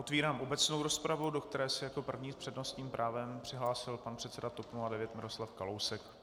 Otvírám obecnou rozpravu, do které se jako první s přednostním právem přihlásil pan předseda TOP 09 Miroslav Kalousek.